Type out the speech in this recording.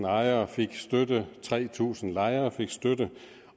ejere fik støtte tre tusind lejere fik støtte